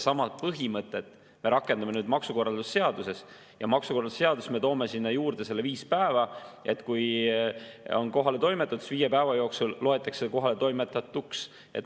Sama põhimõtet me rakendame maksukorralduse seaduses, ja maksukorralduse seaduses me toome sinna juurde selle viis päeva, et kui on, siis viie päeva loetakse see kohaletoimetatuks.